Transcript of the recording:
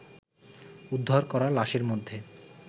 উদ্ধার করা লাশের মধ্যে